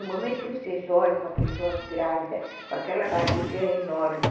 No momento que vocês olham uma pessoa grávida, com aquela barriga enorme,